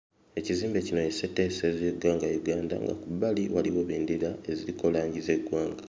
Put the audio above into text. Ekizimbe kino ye sseteeserezo y'eggwanga Uganda nga ku bbali waliwo bbendera eziriko langi z'eggwanga.